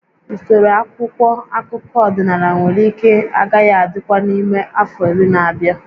Usoro akwụkwọ akụkọ ọdịnala nwere ike agaghị adịkwa n'ime afọ iri na-abịa